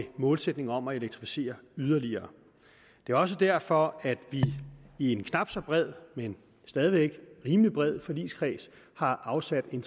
målsætning om at elektrificere yderligere det er også derfor at vi i en knap så bred men stadig væk rimelig bred forligskreds har afsat en